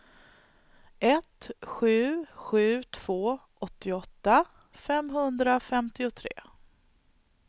ett sju sju två åttioåtta femhundrafemtiotre